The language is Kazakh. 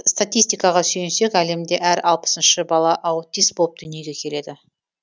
статистикаға сүйенсек әлемде әр алпысыншы бала аутист болып дүниеге келеді